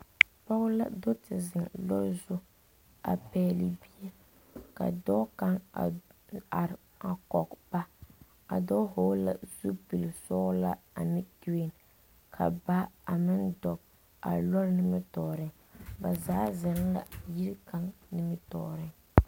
Pɔge la do te zeŋ loori zu a pɛgle bie ka dɔɔ kaŋ are a kɔge ba a dɔɔ vɔgle la zupili sɔglɔ ane gereen ka baa a meŋ dɔɔ a loori nimitɔɔreŋ ba zaa zeŋ la yiri kaŋa nimitɔɔreŋ.